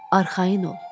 Arxayın ol.